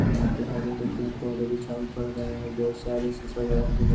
यहाँ पे हर एक पड़ रहे और बोहोत सारे --